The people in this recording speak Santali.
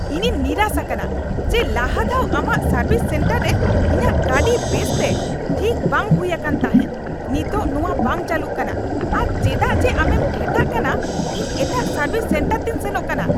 ᱤᱧᱤᱧ ᱱᱤᱨᱟᱥ ᱟᱠᱟᱱᱟ ᱡᱮ ᱞᱟᱦᱟ ᱫᱷᱟᱣ ᱟᱢᱟᱜ ᱥᱚᱨᱵᱷᱤᱥ ᱥᱮᱱᱴᱟᱨ ᱨᱮ ᱤᱧᱟᱜ ᱜᱟᱹᱰᱤ ᱵᱮᱥ ᱛᱮ ᱴᱷᱤᱠ ᱵᱟᱝ ᱦᱩᱭ ᱟᱠᱟᱱ ᱛᱟᱦᱮᱸᱜ ᱾ ᱱᱤᱛᱚᱜ ᱱᱚᱶᱟ ᱵᱟᱝ ᱪᱟᱹᱞᱩᱜ ᱠᱟᱱᱟ ᱟᱨ ᱪᱮᱫᱟᱜ ᱡᱮ ᱟᱢᱮᱢ ᱴᱷᱮᱴᱟᱜ ᱠᱟᱱᱟ, ᱤᱧ ᱮᱴᱟᱜ ᱥᱟᱨᱵᱷᱤᱥ ᱥᱮᱱᱴᱟᱨ ᱛᱤᱧ ᱥᱮᱱᱚᱜ ᱠᱟᱱᱟ ᱾ (ᱜᱟᱦᱟᱠ)